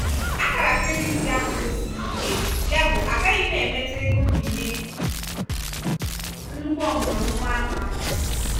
akara kredit gị akwụdosighi ike yabụ agaghị m emetụ ego mbinye nnukwu ọmụrụ nwa ahụ aka.